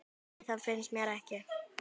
nei það finnst mér ekki